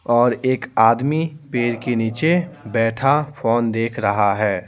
और एक आदमी पेड़ के नीचे बैठा फोन देख रहा है।